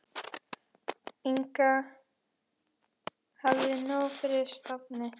Inga hafði nóg fyrir stafni.